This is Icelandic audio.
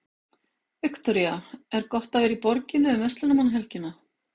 Viktoría: Er gott að vera í borginni um verslunarmannahelgina?